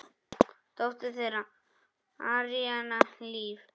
Dóttir þeirra: Aríanna Líf.